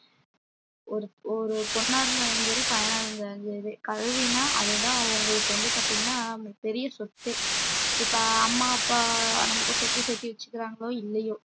ஒரு ஒரு பொண்ணா இருந்தாலும் சரி பையனா இருந்தாலும் சரி கல்வினா அதுதான் அவங்களுக்கு வந்து பாத்தீங்கன்னா பெரிய சொத்தே இப்ப அம்மா அப்பா நமக்கு சொத்து சேர்த்து வச்சுக்குறாங்களோ இல்லையோ